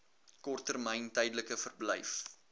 korttermyn tydelike verblyf